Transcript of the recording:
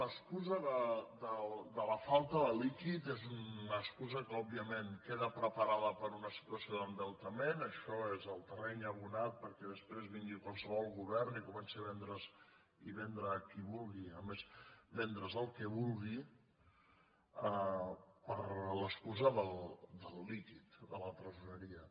l’excusa de la falta de líquid és una excusa que òbviament queda preparada per a una situació d’endeu tament això és el terreny abonat perquè després vingui qualsevol govern i comenci a vendre’s i vendre a qui vulgui a més el que vulgui per l’excusa del líquid de la tresoreria